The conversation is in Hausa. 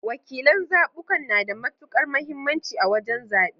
Wakilan zabukan na da matukar muhimmanci wajen zabe.